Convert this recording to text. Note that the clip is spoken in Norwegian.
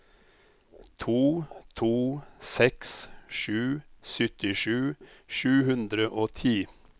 to to seks sju syttisju sju hundre og ti